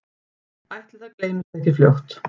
Ætli það gleymist ekki fljótt